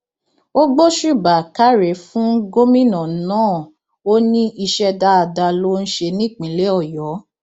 ó gbósùbà káre fún gómìnà náà ó ní iṣẹ dáadáa ló ń ṣe nípínlẹ ọyọ